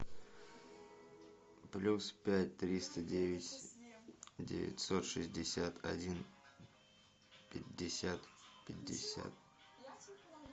плюс пять триста девять девятьсот шестьдесят один пятьдесят пятьдесят